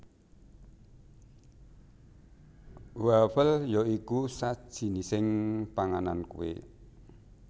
Wafel ya iku sajinising panganan kue